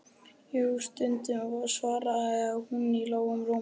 Jú, stundum, svaraði hún í lágum rómi.